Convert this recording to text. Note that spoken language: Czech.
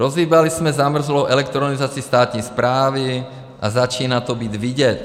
Rozhýbali jsme zamrzlou elektronizaci státní správy a začíná to být vidět.